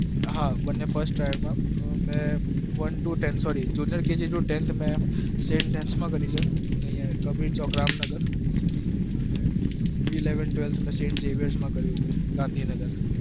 હા બંને first tryl માં one to ten કબીર ચોક રામનગર sem jeviys ગાંધીનગર